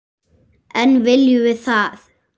En viljum við það?